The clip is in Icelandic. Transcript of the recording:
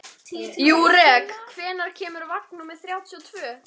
Júrek, hvenær kemur vagn númer þrjátíu og tvö?